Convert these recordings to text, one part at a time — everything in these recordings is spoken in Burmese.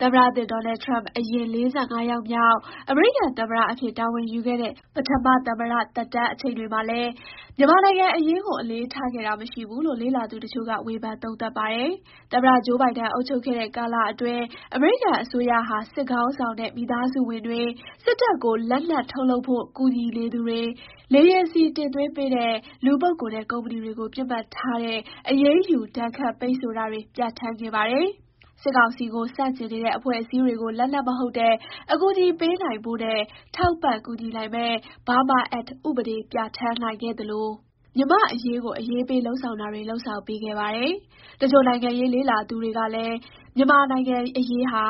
သမ္မတသစ် Donald Trump ဟာ အရင် ၄၅ ယောက်မြောက် အမေရိကန်သမ္မတအဖြစ် တာဝန်ယူခဲ့တဲ့ ပထမ သမ္မတသက်တမ်းအချိန်တွေမှာလည်း မြန်မာနိုင်ငံအရေးကို အလေးထားခဲ့တာ မရှိဘူးလို့ လေ့လာသူတချို့က ဝေဖန် သုံးသပ်ပါတယ်။ သမ္မတဟောင်း Joe Biden အုပ်ချုပ်ခဲ့တဲ့ ကာလအတွင်း အမေရိကန်အစိုးရဟာ စစ်ခေါင်းဆောင်နဲ့ မိသားစုဝင်တွေ၊ စစ်တပ်ကိုလက်နက်ထုတ်လုပ်ဖို့ ကူညီနေသူတွေ၊ လေယာဉ်ဆီတင်သွင်းပေးတဲ့ လူပုဂ္ဂိုလ်နဲ့ ကုမ္ပဏီတွေကို ပစ်မှတ်ထားတဲ့ အရေးယူဒဏ်ခတ်ပိတ်ဆို့တာတွေ ပြဌာန်းခဲ့ပါတယ်။ စစ်ကောင်စီကို ဆန့်ကျင်နေတဲ့ အဖွဲ့အစည်းတွေကို လက်နက်မဟုတ်တဲ့ အကူအညီပေးနိုင်ဖို့နဲ့ ထောက်ပံ့ကူညီနိုင်မယ့် Burma Act ဥပဒေ ပြဌာန်းနိုင်ခဲ့တာလို မြန်မာ့အရေးကို အရေးပေးလုပ်ဆောင်တာတွေ လုပ်ဆောင်ပေးခဲ့ပါတယ်။ တချို့ နိုင်ငံရေးလေ့လာသူတွေကလည်း မြန်မာနိုင်ငံ့အရေးဟာ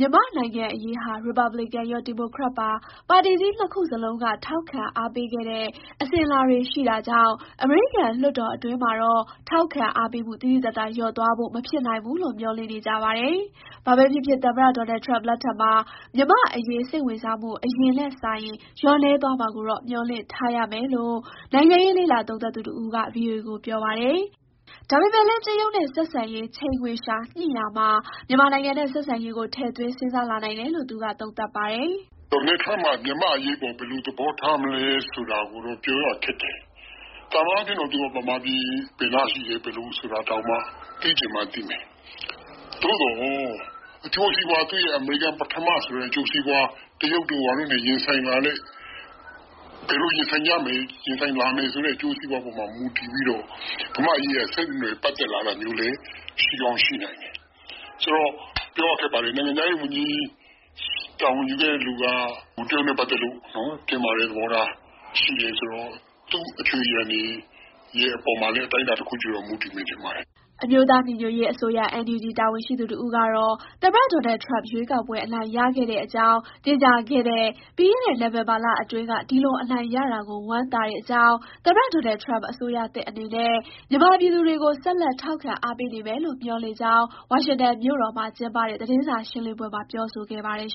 ရီပတ်ဘလစ်ကန်ရော၊ ဒီမိုကရက်ပါ ပါတီကြီးနှစ်ခုစလုံးက ထောက်ခံအားပေးခဲ့ အစဉ်အလာတွေရှိတာကြောင့် အမေရိကန် လွှတ်တော်အတွင်းမှာတော့ ထောက်ခံအားပေးမှု သိသိသာသာ လျော့သွားဖို့ မဖြစ်နိုင်ဘူးလို့ မျှော်လင့်နေကြပါတယ်။ ဘာပဲဖြစ်ဖြစ် သမ္မတ Donald Turmp လက်ထက်မှာ မြန်မာ့ အရေး စိတ်ဝင်စားမှု အရင်နဲ့စာရင် လျော့နည်းသွားမှာကိုတော့ မျှော်လင့်ထားရမယ်လို့ နိုင်ငံရေး လေ့လာသုံးသပ်သူ တဦးက VOA ကို ပြောပါတယ်။ ဒါပေမဲ့လည်း တရုတ်နဲ့ ဆက်ဆံရေး ချိန်ခွင်လျှာညှိရာမှာ မြန်မာနိုင်ငံနဲ့ ဆက်ဆံရေးကို ထည့်သွင်း စဉ်းစားလာနိုင်တယ်လို့ သူက သုံးသပ်ပါတယ်။ "Donald Trump က မြန်မာ့အရေးကို ဘယ်လိုသဘောထားလဲဆိုတာနဲ့ ပတ်သက်လို့တော့ ပြောရခက်တယ်။ သာမန်အားဖြင့်တော့ ဗမာပြည် ဘယ်နားရှိလဲဆိုတာ သိချင်မှသိမယ်။ အမေရိကန်ပထမဆိုတဲ့ အကျိုးစီးပွား တရုတ်တို့ဘာတို့နဲ့ ရင်ဆိုင်လာရတဲ့အခါမှာ ဘယ်လိုရင်ဆိုင်မလဲ ရင်ဆိုင်လာရမယ့်အကျိုးစီးပွားပေါ်မူတည်ပြီးတော့ ဗမာ့အရေးက ဆက်နွယ်ပတ်သက်လာတာမျိုးလဲ ရှိကောင်းရှိနိုင်တယ်။ နိုင်ငံခြားရေးဝန်ကြီး တာဝန်ယူမယ့်သူက တရုတ်နဲ့ပတ်သတ်လို့ တင်းမာတဲ့သဘောထား သူ့အခြွေအရံတွေအပေါ်မှာ အတိုင်းအတာတခုအထိတော့ မူတည်မယ်ထင်ပါတယ်။" အမျိုးသားညီညွတ်ရေးအစိုးရ (NUG) တာဝန်ရှိသူ တဦးကတော့ သမ္မတ Donald Trump ရွေးကောက်ပွဲ အနိုင်ရခဲ့တဲ့အကြောင်း ကြေညာခဲ့တဲ့ ပြီးခဲ့တဲ့ နိုဝင်ဘာလအတွင်းက ဒီလို အနိုင်ရတာကို ဝမ်းသာတဲ့အကြောင်း၊ သမ္မတ Donald Trump အစိုးရသစ်အနေနဲ့ မြန်မာပြည်သူတွေကို ဆက်လက်ထောက်ခံအားပေးနေမယ်လို့ မျှော်လင့်ကြောင်း ဝါရှင်တန်မြို့တော်မှာကျင်းပတဲ့ သတင်းစာရှင်းလင်းပွဲမှာ ပြောဆိုခဲ့ပါတယ်